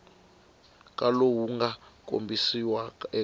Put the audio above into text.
ka lowu nga kombisiwa eka